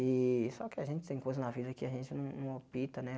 E só que a gente tem coisa na vida que a gente não não opta, né?